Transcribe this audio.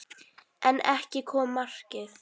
En ekki kom markið.